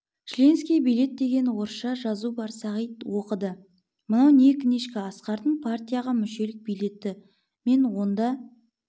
членский билет деген орысша жазу бар сағит оқыды мынау книжка асқардың партияға мүшелік билеті мен онда